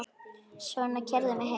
Svona, keyrðu mig heim.